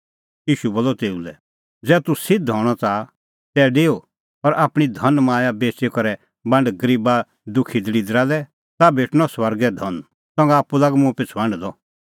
ईशू बोलअ तेऊ लै ज़ै तूह सिध्द हणअ च़ाहा तै डेऊ और आपणीं धनमाया बेच़ी करै बांड गरीबा दुखी दल़िदरा लै ताह भेटणअ स्वर्गै धन संघा आप्पू लाग मुंह पिछ़ू हांढदअ